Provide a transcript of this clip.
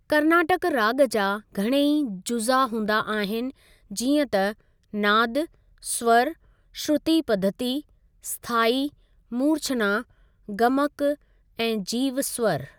कर्नाटक राग॒ जा घणेइ जुज़ा हूंदा आहिनि जींअ त नाद, स्वर, श्रुति पद्धति, स्थायी, मूर्छना, गमक, ऐं जीवस्वर।